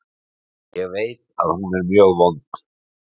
Ég veit að hún er mjög vond.